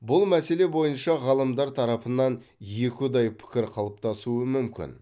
бұл мәселе бойынша ғалымдар тарапынан екіұдай пікір қалыптасуы мүмкін